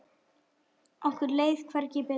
Okkur leið hvergi betur.